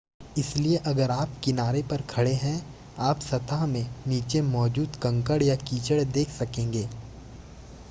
इसलिए अगर आप किनारे पर खड़े हैं आप सतह में नीचे मौजूद कंकड़ या कीचड़ देख सकेंगे